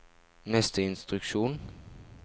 neste instruksjon